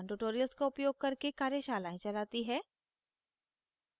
spoken tutorials का उपयोग करके कार्यशालाएं चलाती है